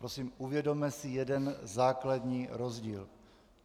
Prosím uvědomme si jeden základní rozdíl.